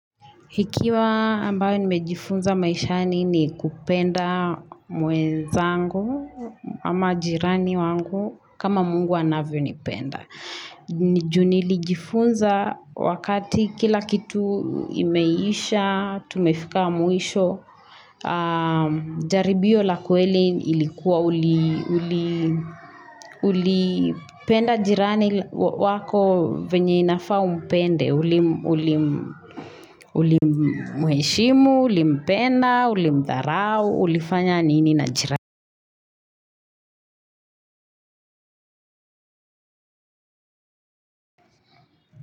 Hikiwa ambayo nimejifunza maishani ni kupenda mwenzangu ama jirani wangu kama mungu anavyonipenda. Ni juu nilijifunza wakati kila kitu imeisha, tumefika mwisho, jaribio la kweli ilikuwa ulipenda jirani wako venye inafaa umpende, ulimuheshimu, ulimpenda, ulimdharau, ulifanya nini na jirani.